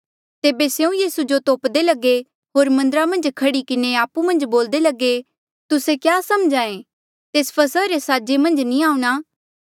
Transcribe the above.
तेबे स्यों यीसू जो तोपदे लगे होर मन्दरा मन्झ खड़ी किन्हें आपु मन्झ बोल्दे लगे तुस्से क्या समझ्हा ऐें तेस फसहा रे साजे मन्झ नी आऊंणा